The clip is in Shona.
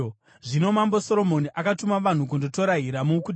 Zvino Mambo Soromoni akatuma vanhu kundotora Hiramu kuTire.